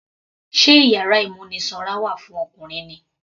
Sé iyàrá ìmúnisanra wà fún Ọkùnrin ni.